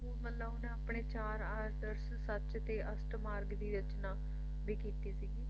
ਮਤਲਬ ਓਹਨਾ ਆਪਣੇ ਚਾਰ ਆਦਰਸ਼ ਸੱਚ ਤੇ ਅਸ਼ਟਮਾਰਗ ਦੀ ਰਚਨਾ ਵੀ ਕੀਤੀ ਸੀਗੀ